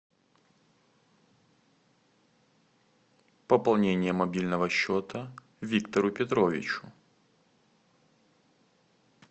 пополнение мобильного счета виктору петровичу